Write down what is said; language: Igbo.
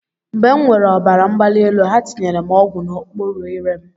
Mgbe m nwèrè ọbara mgbali elu, ha tinyere m ọgwụ n'okpuru ire m.